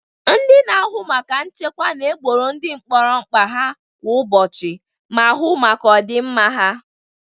Ndị na-ahụ maka nchekwa na egboro ndị mkpọrọ mkpa ha kwa ụbọchị ma hu maka ọ dị mma ha.